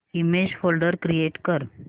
image folder create कर